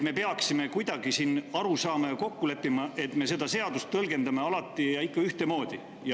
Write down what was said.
Me peaksime siin kuidagi aru saama ja kokku leppima, et me seda seadust tõlgendame alati ikka ühtemoodi.